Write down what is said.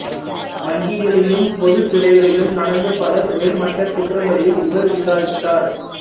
வங்கிகளிலும் பொதுத் துறைகளிலும் நடந்த பல உயர்மட்டக் குற்றங்களையும் இவர் விசாரித்தார்